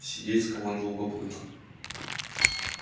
сидеть скомандовал папулька